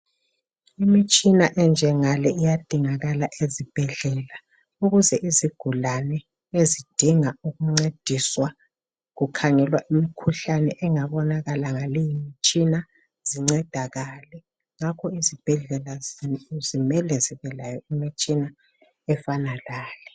Imitshina enjangale iyadingakala ezibhedlela ukuze izigulani ezidinga ukuncediswa kukhangelwa imikhuhlane engabonakala ngale imitshina zincedakale. Ngakho izibhedlela zimele zibelayo imitshina efana lale.